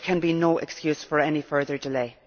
there can be no excuse for any further delay.